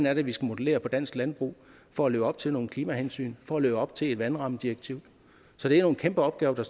er vi skal modellere dansk landbrug for at leve op til nogle klimahensyn for at leve op til eus vandrammedirektiv så det er nogle kæmpe opgaver der